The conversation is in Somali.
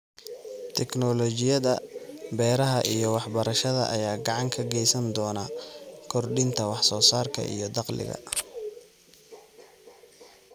Tignoolajiyada beeraha iyo waxbarashada ayaa gacan ka geysan doona kordhinta wax soo saarka iyo dakhliga.